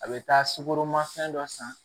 A bɛ taa sukoro ma fɛn dɔ san